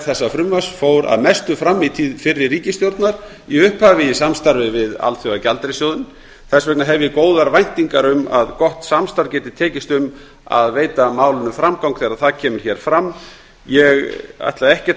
þessa frumvarps fór að mestu fram í tíð fyrri ríkisstjórnar í upphafi í samstarfi við alþjóðagjaldeyrissjóðinn þess vegna hef ég góðar væntingar um að gott samstarf geti tekist um að veita málinu framgang þegar það kemur hér fram ég ætla ekkert